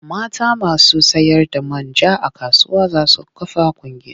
Mata masu sayarda man ja a kasuwa za su kafa ƙungiya.